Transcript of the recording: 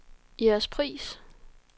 Jægerspris